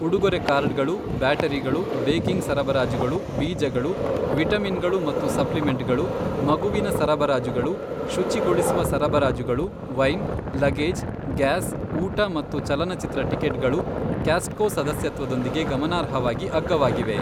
ಉಡುಗೊರೆ ಕಾರ್ಡ್ಗಳು, ಬ್ಯಾಟರಿಗಳು, ಬೇಕಿಂಗ್ ಸರಬರಾಜುಗಳು, ಬೀಜಗಳು, ವಿಟಮಿನ್ಗಳು ಮತ್ತು ಸಪ್ಲಿಮೆಂಟ್ಗಳು, ಮಗುವಿನ ಸರಬರಾಜುಗಳು, ಶುಚಿಗೊಳಿಸುವ ಸರಬರಾಜುಗಳು, ವೈನ್, ಲಗೇಜ್, ಗ್ಯಾಸ್, ಊಟ ಮತ್ತು ಚಲನಚಿತ್ರ ಟಿಕೆಟ್ಗಳು ಕಾಸ್ಟ್ಕೊ ಸದಸ್ಯತ್ವದೊಂದಿಗೆ ಗಮನಾರ್ಹವಾಗಿ ಅಗ್ಗವಾಗಿವೆ.